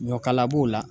Ɲɔkala b'o la